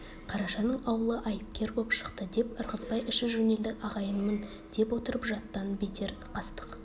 қарашаның аулы айыпкер боп шықты деп ырғызбай іші жөнелді ағайынмын деп отырып жаттан бетер қастық